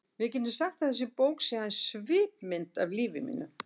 Við getum sagt að þessi bók sé aðeins svipmynd af lífi mínu.